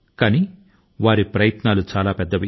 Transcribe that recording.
కానీ ఆయన ప్రయత్నాలు చాలా పెద్ద వి